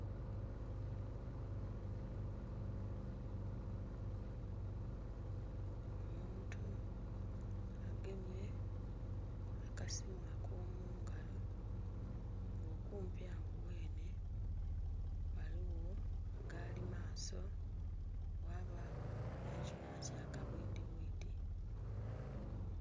Omuntu agemye akasiimu ako mu ngalo nga okumpi agho ghene ghaligho galimaso ghabagho nhe ekyuma kya kabwidhi bwidhi.